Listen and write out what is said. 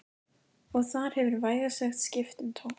Og þar hefur vægast sagt skipt um tón